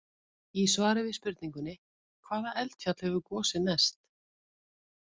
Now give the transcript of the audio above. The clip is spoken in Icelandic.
Í svari við spurningunni: Hvaða eldfjall hefur gosið mest?